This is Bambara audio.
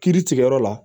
Kiiri tigɛ yɔrɔ la